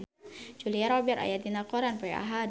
Julia Robert aya dina koran poe Ahad